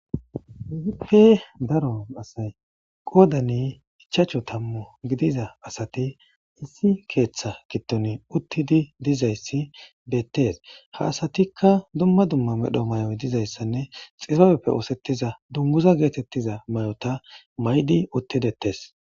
kehipe daron asay qoodani ichachu tammu gidiza asati issi keeththa gidtoni uttidi dizayssi beettes ha asatikka duma duma medho may7oy dizayssanne xibaabeppe oosettiza dunmuza geetettiza may7ota may7di uttidettes